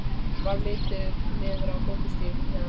Varð litið niður á göngustíginn fyrir neðan.